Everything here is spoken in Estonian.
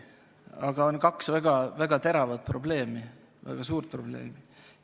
Seejuures on aga kaks väga teravat probleemi, väga suurt probleemi.